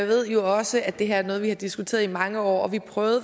ved jo også at det her er noget vi har diskuteret i mange år vi prøvede